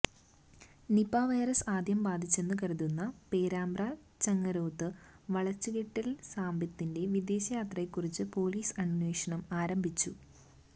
Nipah virus ആദ്യം ബാധിച്ചെന്ന് കരുതുന്ന പേരാമ്പ്ര ചങ്ങരോത്ത് വളച്ചുകെട്ടിയില് സാബിത്തിന്റെ വിദേശയാത്രയെകുറിച്ച് പോലീസ് അന്വേഷണം ആരംഭിച്ചു